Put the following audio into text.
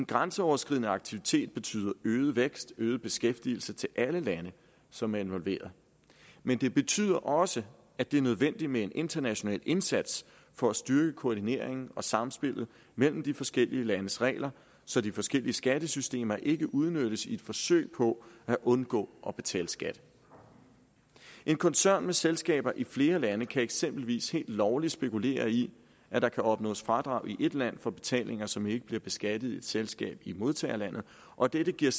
grænseoverskridende aktivitet betyder øget vækst øget beskæftigelse til alle lande som er involveret men det betyder også at det er nødvendigt med en international indsats for at styrke koordineringen og samspillet mellem de forskellige landes regler så de forskellige skattesystemer ikke udnyttes i et forsøg på at undgå at betale skat en koncern med selskaber i flere lande kan eksempelvis helt lovligt spekulere i at der kan opnås fradrag i et land for betalinger som ikke bliver beskattet i et selskab i modtagerlandet og dette giver